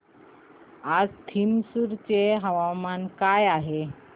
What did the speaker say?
आज थ्रिसुर चे हवामान काय आहे